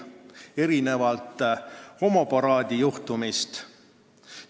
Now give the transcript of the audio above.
Erinevalt homoparaadi juhtumist meie Välisministeerium vaikib.